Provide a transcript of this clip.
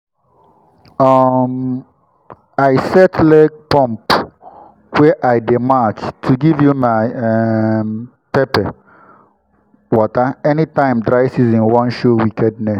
um i set leg-pump wey i dey match to give my um pepper water anytime dry season wan show wickedness.